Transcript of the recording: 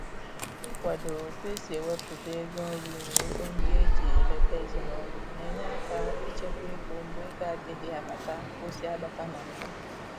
Ị kwado otu e si ewepụta ego nri na ego ndị eji eleta ezinaụlọ na-enye aka ịchekwa ego mgbe ego adịghị abata ka ọ si abata na mbụ